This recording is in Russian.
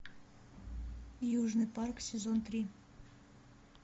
южный парк сезон три